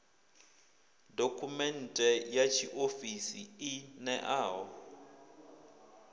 dokhumenthe ya tshiofisi i ṋeaho